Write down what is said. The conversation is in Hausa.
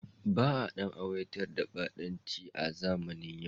Ba a ɗan aiwatar da ɓatanci a zamanin yau.